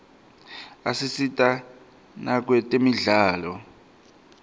asita nakwetemidlalo